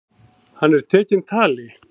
Hann er tekinn tali.